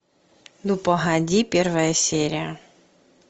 ну погоди первая серия